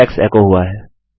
Alex एको हुआ है